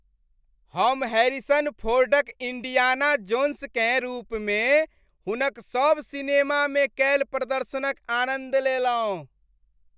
हम हैरिसन फोर्डक इंडियाना जोन्सकेँ रूपमे हुनक सभ सिनेमामे कयल प्रदर्शनक आनन्द लेलहुँ।